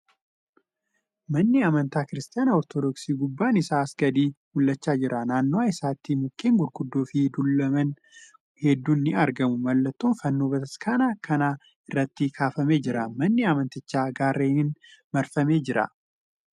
Manni amantaa Kiristaanaa Ortoodooksii gubbaan isaa asii gadi mul'achaa jira. Naannawwaa isaatti mukkeen gurguddoo fi dullooman hedduun ni argamu. Mallattoon fannoo bataskaana kan irratti kaafamee jira. Manni amantichaa gaarreniin marfamee jira.